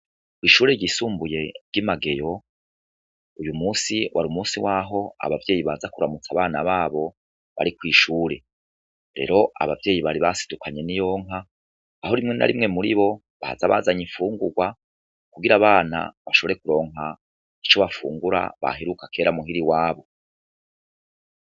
Ko'ishure ryisumbuye rwimageyo uyu musi wari umusi waho abavyeyi baza kuramutsa abana babo bariko'ishure rero abavyeyi bari basidukanye n'iyonka aho rimwe na rimwe muri bo bahaza bazanye ifungurwa kugira abana bashore kuronka ico bafungura bahiruka kera muhiri wabo.